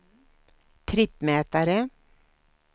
trippmätare